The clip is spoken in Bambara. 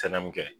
Tɛnɛ mun kɛ